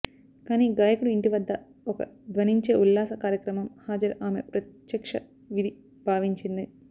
కానీ గాయకుడు ఇంటి వద్ద ఒక ధ్వనించే ఉల్లాస కార్యక్రమం హాజరు ఆమె ప్రత్యక్ష విధి భావించింది